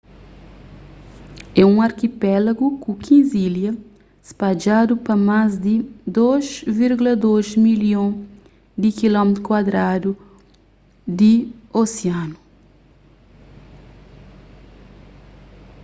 é un arkipelagu ku 15 ilha spadjadu pa más di 2.2 milhon di km2 di osianu